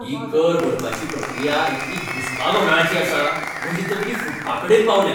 ही कर भरपाची प्रक्रिया इतली घुस्पागोंदळाची आसा, म्हजी तकली फुटपाकडेन पावल्या.